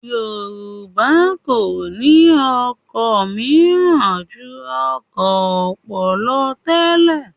Yorùbá kò ní ọkọ̀ mìíràn ju ọkọ̀ ọpọ́n lọ tẹ́lẹ̀